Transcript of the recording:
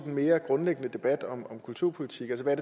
mere grundlæggende debat om kulturpolitik altså hvad